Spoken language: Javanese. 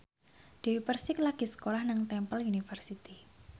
Dewi Persik lagi sekolah nang Temple University